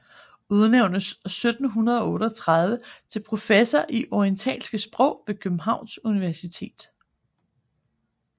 Udnævntes 1738 til professor i orientalske sprog ved Københavns Universitet